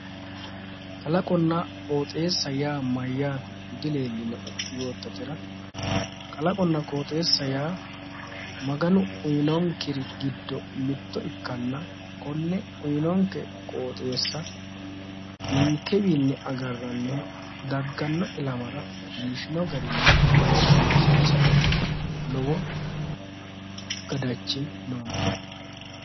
Kalaqonna qooxeessa yaa mayyaate dileellinoe yoottatera kalaqonna qooxeessa yaa maganu uyinikkeri giddo mitto ikkanna konne uyyinonke qooxeessa ninkewiinni agarranniri dagganno ilamara biifino garinni ba"ikkinni sayiisate lowo gadhachi noonke.